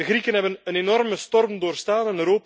De Grieken hebben een enorme storm doorstaan.